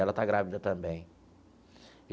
Ela está grávida também.